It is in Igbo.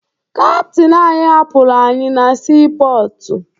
Kaptịn anyị hapụrụ anyị na siipọọtụ